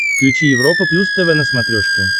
включи европа плюс тв на смотрешке